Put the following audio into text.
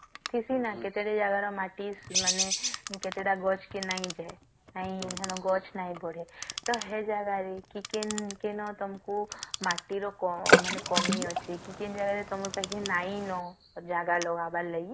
କିଛି ନାଁ କେତେକ ଜାଗାରେ ମାଟି ମାନେ କେତେଟା ଗଛ କି ନଗିଛେ ନାଇଁ ଗଛ ନାହିଁ ବଢେ ତ ସେ ଜାଗାରେ କି କି କେଁ ତମକୁ ମାଟି ର କ ମାନେ କମି ଅଛି କଇଁ ତମପାଖରେ କିଛି ନାହିଁ ନ ତ ଜଗର ହବାର ଲାଗି